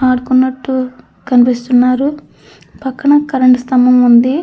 ఆడుకున్నట్టు కనిపిస్తున్నారు. పక్కన కరెంట్ స్తంభం ఉంది.